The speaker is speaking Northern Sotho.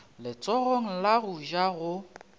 letsogong la go ja go